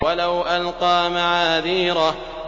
وَلَوْ أَلْقَىٰ مَعَاذِيرَهُ